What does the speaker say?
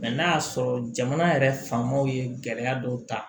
n'a y'a sɔrɔ jamana yɛrɛ fa maw ye gɛlɛya dɔw ta